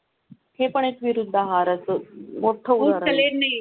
विरुद्ध आहार मोठावळ फूड् कस्टम. कसोड सहापूर कळण. हम्म. हम्म.